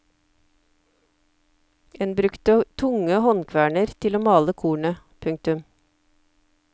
En brukte tunge håndkverner til å male kornet. punktum